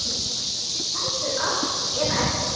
Heldur allt eða ekkert.